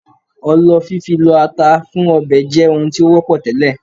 Ọlọ fífi lọ ata fún ọbẹ̀ jẹ́ ohun tí ó wọ́pọ̀ tẹ́lẹ̀